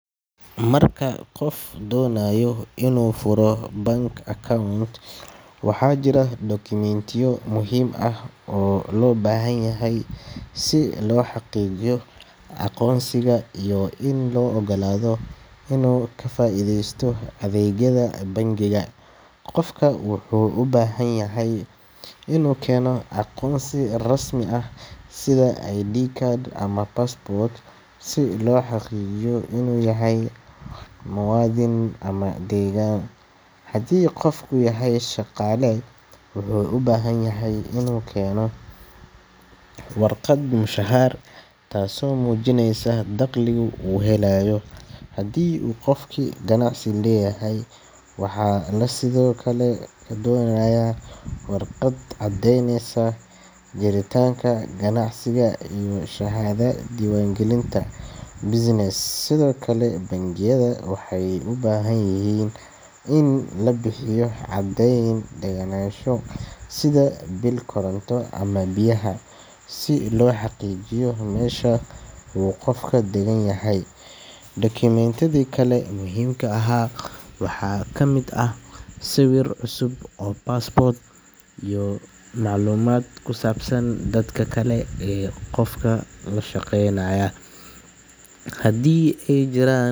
Marka qof doonayo inuu furo bank account, waxaa jira dukumiintiyo muhiim ah oo loo baahan yahay si loo xaqiijiyo aqoonsigiisa iyo in loo oggolaado inuu ka faa’iidaysto adeegyada bangiga. Qofka wuxuu u baahan yahay inuu keeno aqoonsi rasmi ah sida ID card ama passport, si loo xaqiijiyo inuu yahay muwaadin ama deggan. Haddii qofku yahay shaqaale, wuxuu u baahan yahay inuu keeno warqad mushahar, taasoo muujineysa dakhliga uu helayo. Haddii uu qofku ganacsi leeyahay, waxaa la sidoo kale ka doonayaa warqad caddeynaysa jiritaanka ganacsiga iyo shahaadada diiwaangelinta business. Sidoo kale, bangiyada waxay u baahan yihiin in la bixiyo caddeyn degganaansho sida biil koronto ama biyaha, si loo xaqiijiyo meesha uu qofka degan yahay. Dukumiintiyada kale ee muhiimka ah waxaa ka mid ah sawir cusub oo pasport ah iyo macluumaad ku saabsan dadka kale ee qofka la shaqeynaya, haddii ay jiraan.